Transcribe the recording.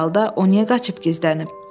Əks halda o niyə qaçıb gizlənib?